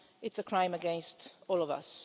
It's a crime against all of us.